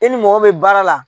I ni mɔgɔ min bɛ baara la.